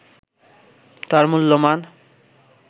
তার মূল্যমান